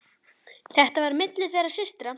Þetta var á milli þeirra systra.